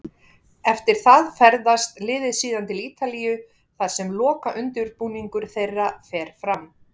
Eftir það ferðast liðið síðan til Ítalíu þar sem lokaundirbúningur þeirra fer fram.